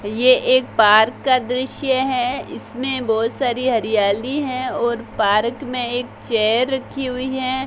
ये एक पार्क का दृश्य है इसमें बहोत सारी हरियाली हैं और पारक में एक चेयर रखी हुई है।